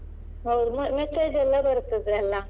ಹೌದು message ಯೆಲ್ಲ ಬರ್ತದಲ್ಲ.